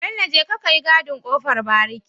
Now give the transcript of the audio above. Bello jeka kayi gadin kofar bariki